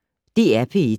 DR P1